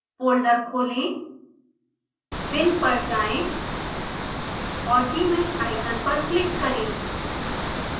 folder खोलें bin पर जाएँ और gmsh आइकन पर क्लिक करें